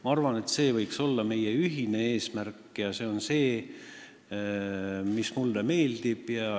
Ma arvan, et see võiks olla meie ühine eesmärk, ja see on see, mis mulle meeldib.